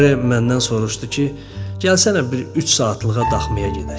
Eyre məndən soruşdu ki, gəlsənə bir üç saatlığa daxmaya gedək.